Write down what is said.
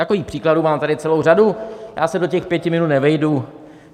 Takových příkladů tady mám celou řadu, já se do těch pěti minut nevejdu.